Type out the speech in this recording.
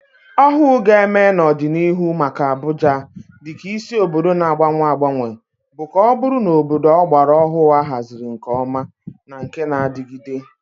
Ọhụụ ga-eme n'ọdịnihu maka Abuja dị ka isi obodo na-agbanwe agbanwe bụ ka ọ bụrụ obodo ọgbara ọhụrụ, ahaziri nke ọma, na nke na-adigide.